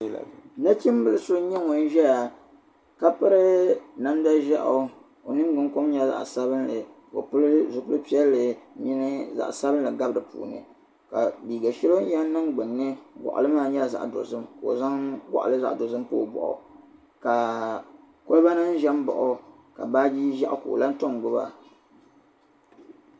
Nachimbili so nyɛ ŋuni ʒiya ka piri namda ʒieɣu ka o ningbuni kom nyɛ zaɣ'sabinli ka pili zupil'piɛlli ni zaɣ'sabinli gabi di puuni ka liiga shɛli o yɛn niŋ gbunni gɔɣili maa nyɛla zaɣ'dozim ka o zaŋ gɔɣili zaɣ'dozim pa o bɔɣi ka kolibanima ʒi baɣi o ka baaje ʒieɣu ka o lahi tom gbuba.